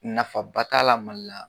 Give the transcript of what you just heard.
Nafaba t'a la Mali la.